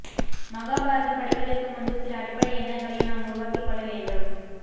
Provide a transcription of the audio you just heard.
மகாபாரதம் படிப்பதற்கு முன்பு சில அடிப்படை எண்ணங்களை நாம் உருவாக்கி கொள்ள வேண்டும்